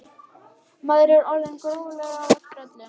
Maður er orðinn gróflega á eftir í öllu.